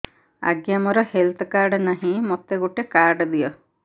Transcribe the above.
ଆଜ୍ଞା ମୋର health card ନାହିଁ ମୋତେ ଗୋଟେ କାର୍ଡ ଦିଅ